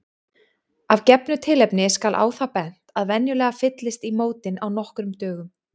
Af gefnu tilefni skal á það bent að venjulega fyllist í mótin á nokkrum dögum.